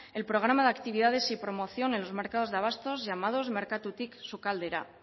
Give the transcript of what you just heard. en programa de actividades y promoción en los mercados de abastos llamados merkatutik sukaldera